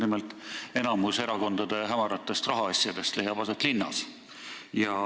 Nimelt, enamik erakondade hämaratest rahaasjadest leiab aset linnas.